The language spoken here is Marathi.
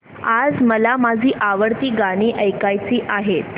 आज मला माझी आवडती गाणी ऐकायची आहेत